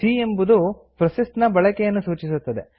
C ಎಂಬುದು processor ನ ಬಳಕೆಯನ್ನು ಸೂಚಿಸುತ್ತದೆ